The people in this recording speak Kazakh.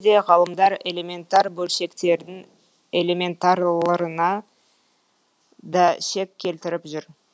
де ғалымдар элементар бөлшектердің элементарлырына да шек келтіріп жүр